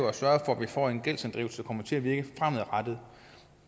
at sørge for at vi får en gældsinddrivelse der kommer til at virke fremadrettet